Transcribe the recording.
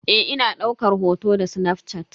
Eh ina daukar hoto da snafshat.